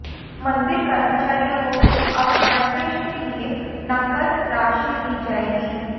मंदिर कर्मचारियों को अब गणवेश के लिए नकद राशि दी जाएगी